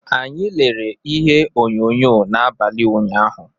Anyị lere ihe onyonyo n’abalị ụnyahụ.